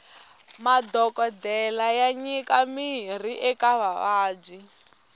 madhokodele ya nyika mirhi eka vavabyi